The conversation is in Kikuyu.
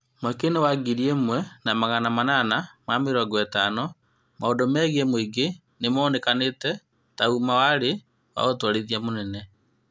Mwaka-inĩ wa ngiri ĩmwe na magana manana ma mĩrongo ĩtano, maũndũ megiĩ mũingĩ nĩmonekanĩte na ũma marĩ na ũtwarithia mũnene